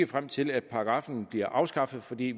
frem til at paragraffen bliver afskaffet for vi